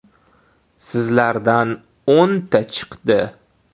Sizlardan o‘nta chiqdi.